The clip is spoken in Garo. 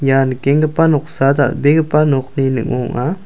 ia nikengipa noksa dal·begipa nokni ningo ong·a.